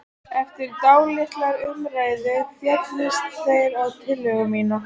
Eftir dálitlar umræður féllust þeir á tillögu mína.